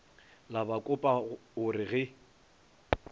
la bakopa o re ge